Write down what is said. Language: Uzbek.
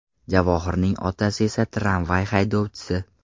Javohirning otasi esa tramvay haydovchisi.